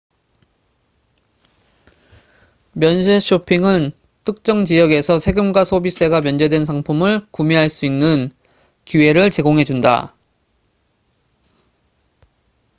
면세 쇼핑은 특정 지역에서 세금과 소비세가 면제된 상품을 구매할 수 있는 기회를 제공해 준다